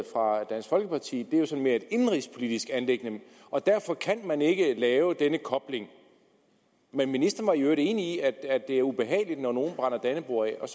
fra dansk folkeparti mere er sådan et indenrigspolitisk anliggende og derfor kan man ikke lave denne kobling men ministeren var i øvrigt enig i at det er ubehageligt når nogen brænder dannebrog af og